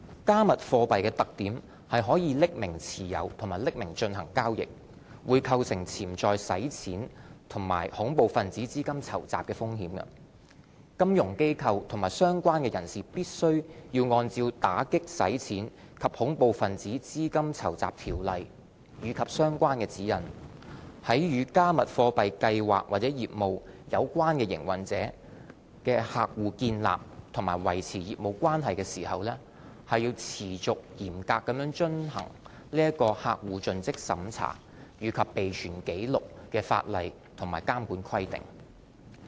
"加密貨幣"的特點是可以匿名持有和進行交易，會構成潛在洗錢及恐怖分子資金籌集的風險，金融機構及相關人士必須按照《打擊洗錢及恐怖分子資金籌集條例》及相關指引，在與"加密貨幣"計劃或業務有關營運者的客戶建立或維持業務關係時，持續嚴格遵行客戶盡職審查及備存紀錄的法例和監管規定。